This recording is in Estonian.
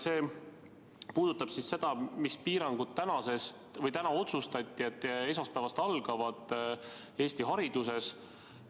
See puudutab seda, mida täna otsustati, mis piirangud esmaspäevast Eesti hariduses algavad.